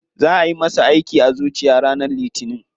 Za ayi masa aiki a zuciya ranar litinin.